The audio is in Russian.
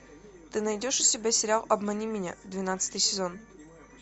ты найдешь у себя сериал обмани меня двенадцатый сезон